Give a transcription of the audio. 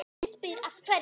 Ég spyr af hverju?